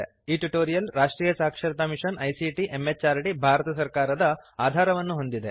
ಈ ಟ್ಯುಟೋರಿಯಲ್ ರಾಷ್ಟ್ರೀಯ ಸಾಕ್ಷರತಾ ಮಿಶನ್ ಐಸಿಟಿ ಎಂಎಚಆರ್ಡಿ ಭಾರತ ಸರ್ಕಾರದ ಆಧಾರವನ್ನು ಹೊಂದಿದೆ